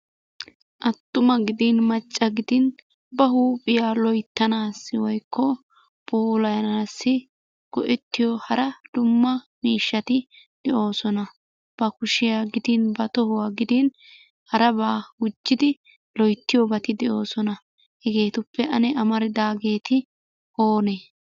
Attuma gidin macca gidin ba huuphiya loyttanassi woykko puulayanassi go"ettiyo hara dumma miishshati de'oosona. Ba kushiya gidin ba tohuwa gidin harabaa gujidi loyttitoobati de'oosona. Heheetuppe ane amaridaageeti oone?